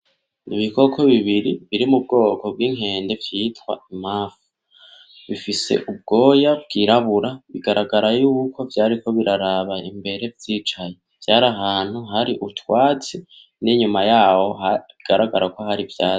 Ibikoko bibiri biri mu bwoko bw'inkende vyitwa imanfu, bifise ubwoya bwirabura, bigaragara yuko vyariko biraraba imbere vyicaye, vyar'ahantu hari utwatsi; n'inyuma yaho bigaragara ko har' ivyatsi.